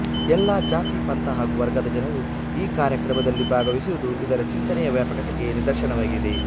ಎಲ್ಲಾ ಜಾತಿ ಪಂಥ ಹಾಗೂ ವರ್ಗದ ಜನರು ಈ ಕಾರ್ಯಕ್ರಮದಲ್ಲಿ ಭಾಗವಹಿಸುವುದು ಇದರ ಚಿಂತನೆಯ ವ್ಯಾಪಕತೆಗೆ ನಿದರ್ಶನವಾಗಿದೆ